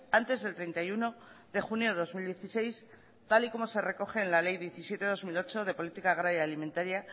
antes del treinta y uno de junio de dos mil dieciséis tal y como se recoge en la ley diecisiete barra dos mil ocho de política agraria alimentaria